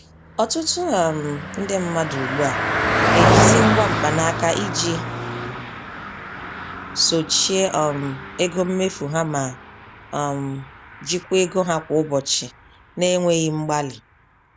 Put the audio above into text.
Ọtụtụ um ndị mmadụ ugbu a na-ejizi ngwa mkpa naka iji sochie um ego mmefu ha ma um jikwaa ego ha kwa ụbọchị na-enweghị mgbalị.